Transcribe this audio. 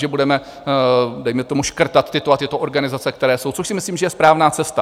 Že budeme dejme tomu škrtat tyto a tyto organizace, které jsou, což si myslím že je správná cesta.